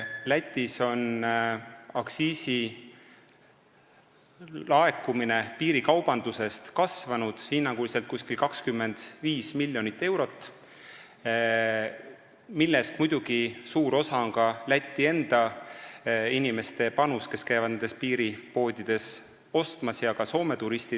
Lätis on aktsiisilaekumine piirikaubandusest kasvanud hinnanguliselt 25 miljonit eurot, millest muidugi suure osa moodustab Läti enda inimeste panus, kes käivad nendes piiripoodides alkoholi ostmas, ja ka Soome turistide oma.